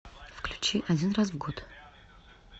включи один раз в год